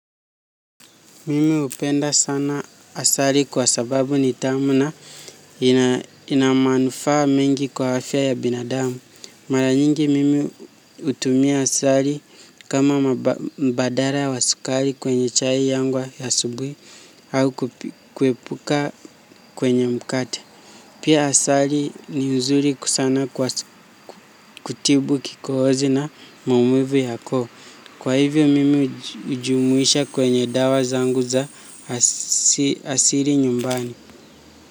Mimi hupenda sana asali kwa sababu ni tamu na ina manufaa mingi kwa afya ya binadamu. Mara nyingi mimi hutumia asali kama mbadala wa sukari kwenye chai yangu ya asubuhi au kuepuka kwenye mkate. Pia asali ni uzuri sana kutibu kikohozi na maumivu ya koo. Kwa hivyo mimi hujumuisha kwenye dawa zangu za asili nyumbani.